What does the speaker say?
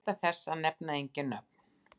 Gæta þess að nefna engin nöfn.